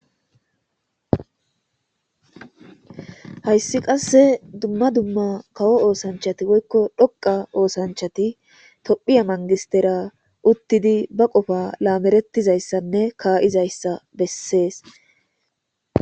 hayssi qasse dumma dumma kawo oosanchati woykko dhoqa oosanchati tophiya mangistera uttidi ba qofa laamerettizayssanne kaa7izayssa bessees